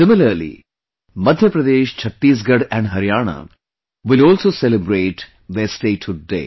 Similarly, Madhya Pradesh, Chhattisgarh and Haryana will also celebrate their Statehood day